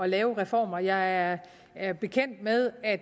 lave reformer jeg er bekendt med at